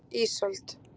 Ísold